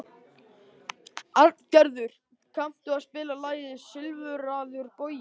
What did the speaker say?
Arngerður, kanntu að spila lagið „Silfraður bogi“?